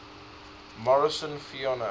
morrison fauna